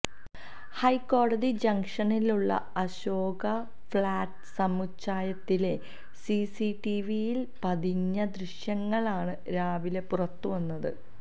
ഹൈക്കോടതി ജംങ്ഷനിലുള്ള അശോകാ ഫ്ളാറ്റ് സമുച്ചയത്തിലെ സിസിടിവിയില് പതിഞ്ഞ ദൃശ്യങ്ങളാണ് രാവിലെ പുറത്തുവന്നത്